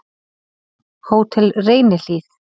Hótel Reynihlíð